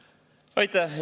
Aitäh!